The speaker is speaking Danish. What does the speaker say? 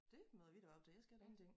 Det møder vi da op til jeg skal ingenting